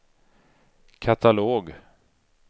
katalog